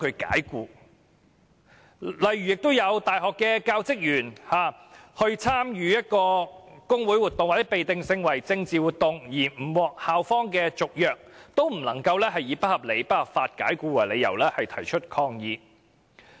此外，亦有大學教職員因為參與工會活動或被定性為政治活動的活動而不獲校方續約，但卻不能以不合理及不合法解僱為由提出申索。